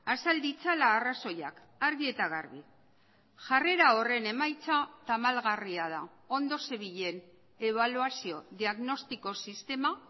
azal ditzala arrazoiak argi eta garbi jarrera horren emaitza tamalgarria da ondo zebilen ebaluazio diagnostiko sistema